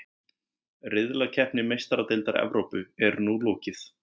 Riðlakeppni Meistaradeildar Evrópu er nú lokið.